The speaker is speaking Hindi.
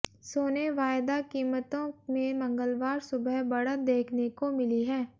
सोने वायदा कीमतों में मंगलवार सुबह बढ़त देखने को मिली है